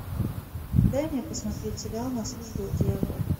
дай мне посмотреть сериал на службе у дьявола